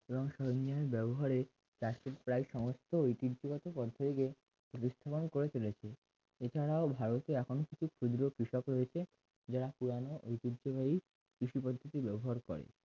এবং সরঞ্জামের ব্যবহারের প্রায় সমস্ত ঐতিহ্যবাহী পন্থা দেখে দৃষ্টিমান করে চলেছে এছাড়াও ভারতে এখন কিছু ক্ষুদ্র কৃষক রয়েছে যারা পুরানো ঐতিহ্যবাহী কৃষিপদ্ধতি ব্যবহার করে